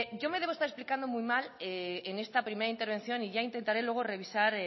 yo me debo estar explicando muy mal en esta primera intervención y ya intentaré luego revisar